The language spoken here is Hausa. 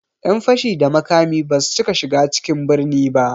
Ƴan fashi da makami basu cika shiga cikin birni ba